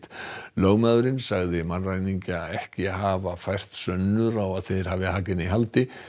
lögmaðurinn sagði mannræningjana ekki hafa fært sönnur á að þeir hafi Hagen í haldi